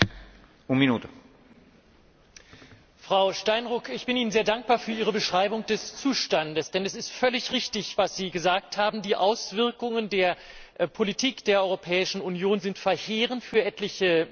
Herr Präsident! Frau Steinruck, ich bin Ihnen sehr dankbar für Ihre Beschreibung des Zustandes, denn es ist völlig richtig, was Sie gesagt haben Die Auswirkungen der Politik der Europäischen Union sind verheerend für etliche Mitgliedstaaten.